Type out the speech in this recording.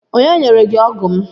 Onye nyere gị ọgụ m?